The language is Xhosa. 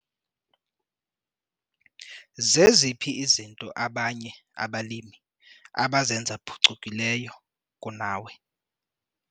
Zeziphi izinto abanye abalimi abazenza phucukileyo kunawe?